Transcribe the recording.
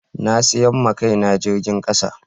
Na sayi ma Kai na jirgin kasa.